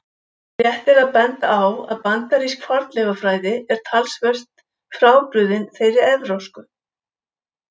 Rétt er að benda á að bandarísk fornleifafræði er talsvert frábrugðin þeirri evrópsku.